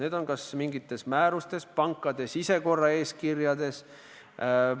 Need on kas mingites määrustes, pankade sisekorraeeskirjades.